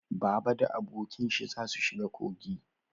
Baba da abokin shi za su shiga kogi